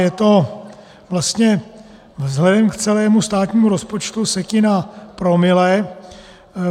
Je to vlastně vzhledem k celému státnímu rozpočtu setina promile.